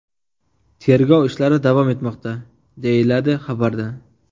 Tergov ishlari davom etmoqda”, deyiladi xabarda.